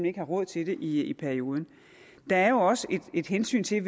ikke har råd til det i perioden der er jo også et hensyn til at